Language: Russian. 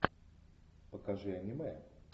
покажи аниме